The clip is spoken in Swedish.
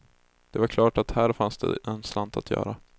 Det var klart att här fanns det en slant att göra.